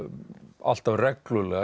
alltaf reglulega